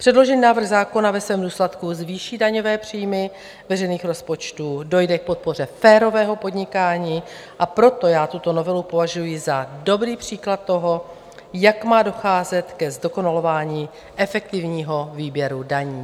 Předložený návrh zákona ve svém důsledku zvýší daňové příjmy veřejných rozpočtů, dojde k podpoře férového podnikání, a proto já tuto novelu považuji za dobrý příklad toho, jak má docházet ke zdokonalování efektivního výběru daní.